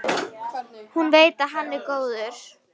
Hún veit að hann er góður.